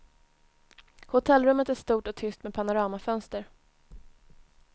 Hotellrummet är stort och tyst med panoramafönster.